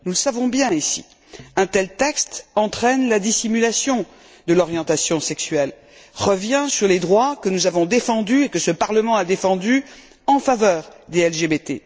Nous le savons bien ici, un tel texte entraîne la dissimulation de l'orientation sexuelle, revient sur les droits que nous avons défendus et que ce Parlement a défendus en faveur des LGBT.